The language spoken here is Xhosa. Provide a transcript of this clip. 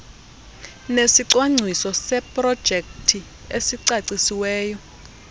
nesicwangciso seprojekthi esicacisiweyo